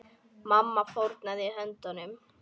Mamma fórnaði höndum.